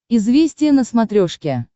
известия на смотрешке